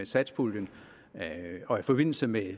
satspuljen og i forbindelse med